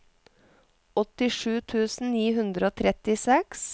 åttisju tusen ni hundre og trettiseks